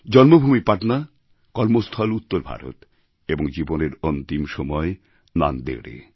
জন্মভূমি পাটনা কর্মস্থল উত্তরভারত এবং জীবনের অন্তিম সময় নান্দেড়এ